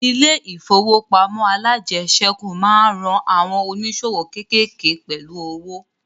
Ilẹ̀ ìfowópamọ́ alájẹsẹ́kù máa ń ran àwọn ònísòwò kékéèké pẹ̀lú owo